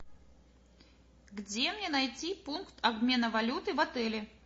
где мне найти пункт обмена валюты в отеле